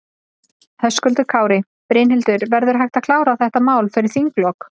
Höskuldur Kári: Brynhildur, verður hægt að klára þetta mál fyrir þinglok?